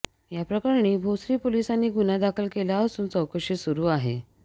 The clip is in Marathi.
याप्रकरणी भोसरी पोलिसांनी गुन्हा दाखल केला असून चौकशी सुरु आहे